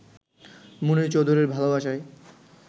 মুনীর চৌধুরীর ভালোবাসায়